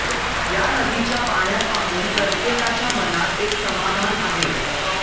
या नदीच्या पाण्यात पाहून प्रत्येकाच्या मनात एक समाधान आहे